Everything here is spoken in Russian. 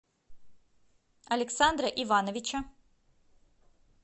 александра ивановича